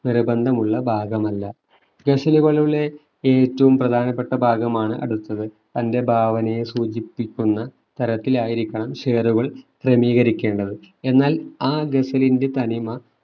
നിർബന്ധമുള്ള ഭാഗമല്ല ഗസലുകളുടെ ഏറ്റവും പ്രധാനപ്പെട്ട ഭാഗമാണ് അടുത്തത് തന്റെ ഭാവനയെ സൂചിപ്പിക്കുന്ന തരത്തിലായിരിക്കണം ഷേറുകൾ ക്രമീകരിക്കേണ്ടത് എന്നാൽ ആ ഗസലിന്റെ തനിമ